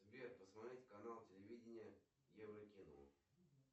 сбер посмотреть канал телевидения еврокино